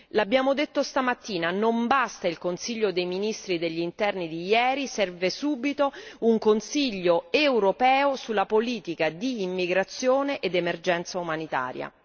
L'abbiamo detto stamattina non basta il Consiglio dei ministri degli Interni di ieri, serve subito un Consiglio europeo sulla politica di immigrazione ed emergenza umanitaria.